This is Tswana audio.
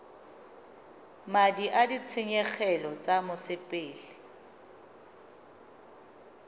madi a ditshenyegelo tsa mosepele